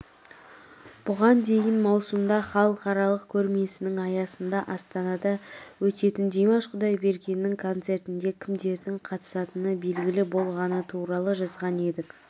бұған дейін маусымда халықаралық көрмесінің аясында астанада өтетіндимаш құдайбергеннің концертінде кімдердің қатысатыны белгілі болғаны туралы жазған едік